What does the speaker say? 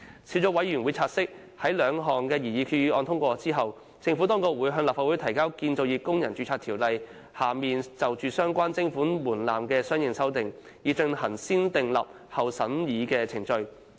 小組委員會察悉，在兩項擬議決議案獲通過後，政府當局會向立法會提交《建造業工人註冊條例》下就相關徵款門檻的相應修訂，以進行"先訂立後審議"程序。